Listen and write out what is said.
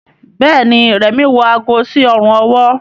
Béèni Remi wọ àgó sí Ọrùn ọwọ́.